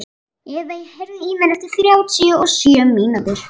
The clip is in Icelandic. Evey, heyrðu í mér eftir þrjátíu og sjö mínútur.